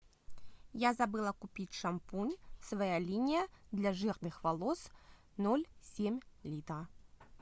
я забыла купить шампунь своя линия для жирных волос ноль семь литра